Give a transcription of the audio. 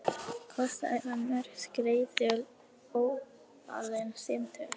Kostaði það mörg skeyti og ótalin símtöl.